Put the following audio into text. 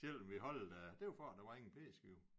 Selvom vi holdt øh det var for at der var ingen p-skive